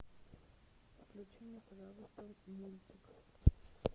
включи мне пожалуйста мультик